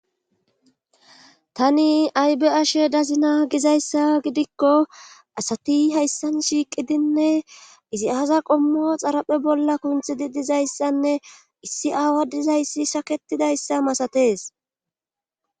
Tani aybeyashe dazina gizayssa gidikko asati hayssan shiiqidinne izi aza qommo xaraphe bolla kunthidi dizayssanne issi aawa dizayssi shaketidayssa masatees